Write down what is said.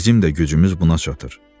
Bizim də gücümüz buna çatır.